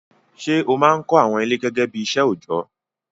Ṣé ó máa ń kọ́ àwọn ilé gẹ́gẹ́ bí iṣẹ́ òjọ́?